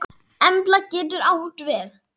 Embla getur átt við